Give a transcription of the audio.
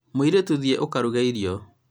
mũirĩtũ, thiĩ ũkaruge irio